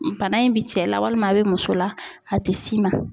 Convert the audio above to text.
Bana in bi cɛ la walima a bɛ muso la a te s'i ma.